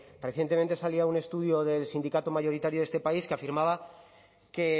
recientemente salía un estudio del sindicato mayoritario de este país que afirmaba que